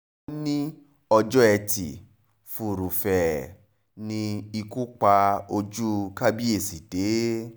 ó ní ọjọ́ etí furuufee ni ikú pa ojú kábíyèsí dé